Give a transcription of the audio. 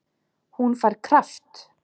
Hún fær kraft.